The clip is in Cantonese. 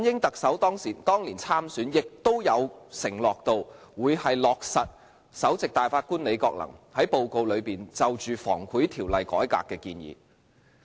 特首梁振英當年參選亦曾承諾，會落實前首席大法官李國能在報告內就《防止賄賂條例》改革的建議。